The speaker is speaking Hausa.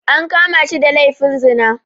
An kama shi da laifin zina